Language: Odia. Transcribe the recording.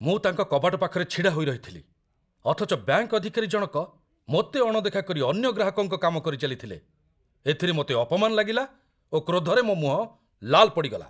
ମୁଁ ତାଙ୍କ କବାଟ ପାଖରେ ଛିଡ଼ାହୋଇରହିଥିଲି, ଅଥଚ ବ୍ୟାଙ୍କ ଅଧିକାରୀ ଜଣକ ମୋତେ ଅଣଦେଖା କରି ଅନ୍ୟ ଗ୍ରାହକଙ୍କ କାମ କରିଚାଲିଥିଲେ, ଏଥିରେ ମୋତେ ଅପମାନ ଲାଗିଲା ଓ କ୍ରୋଧରେ ମୋ ମୁହଁ ଲାଲ ପଡ଼ିଗଲା।